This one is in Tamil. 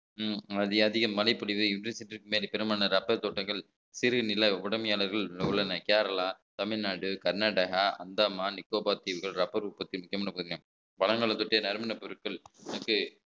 உம் அதி~ அதிக மழைப்பொழிவு பெரும்பாலான rubber தோட்டங்கள் சிறுநில உடமையாளர்கள் உள்ளன கேரளா தமிழ்நாடு கர்நாடகா அந்தமான் நிக்கோபார் தீவுகள் rubber உற்பத்தி முக்கியமான பகுதி பழங்களை பற்றிய நறுமணப் பொருட்கள்